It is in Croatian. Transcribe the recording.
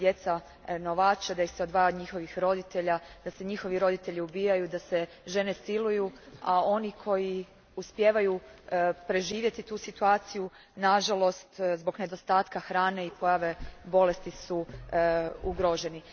Djeca se novače, odvajaju od njihovih roditelja, njihovi roditelji ubijaju, žene siluju a oni koji uspijevaju preživjeti tu situaciju nažalost, zbog nedostatka hrane i pojave bolesti su ugroženi.